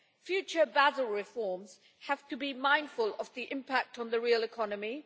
Future Basel reforms have to be mindful of the impact on the real economy.